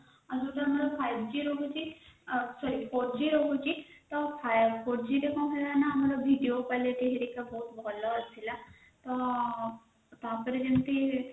ଆଯ ଯୋଉଟା ଆମର five g ରହୁଛି sorry four g ରହଛି four g ରେ କଣ ହେଲା ନା ଆମର video quality ହେରିକା ବହୁତ ଭଲ ଥିଲା ତ ତାପରେ ଯେମିତି